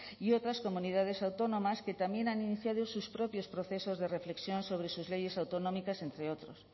y otras comunidades autónomas que también han iniciado sus propios procesos de reflexión sobre sus leyes autonómicas entre otros